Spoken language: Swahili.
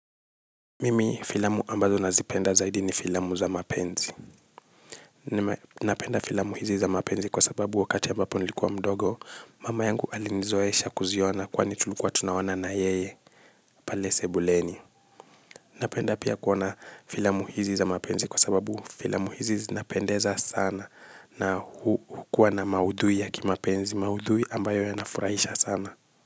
Mimi filamu ambazo nazipenda zaidi ni filamu za mapenzi. Napenda filamu hizi za mapenzi kwa sababu wakati ambapo nilikuwa mdogo mama yangu alinizoesha kuziona kwani tulikuwa tunawana na yeye. Pale sebuleni. Napenda pia kuona filamu hizi za mapenzi kwa sababu filamu hizi zinapendeza sana. Na hukuwa na maudhui ya kimapenzi, maudhui ambayo ya nafurahisha sana.